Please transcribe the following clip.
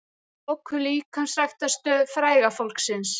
Lokuðu líkamsræktarstöð fræga fólksins